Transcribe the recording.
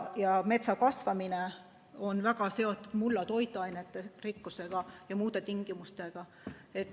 Ja metsa kasvamine on väga seotud mulla toitainerikkusega ja muude tingimustega.